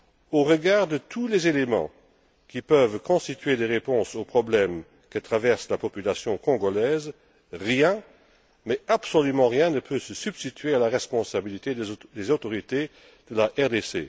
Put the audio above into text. Au regard de tous les éléments qui peuvent constituer des réponses aux problèmes que traverse la population congolaise, rien, absolument rien, ne peut se substituer à la responsabilité des autorités de la RDC.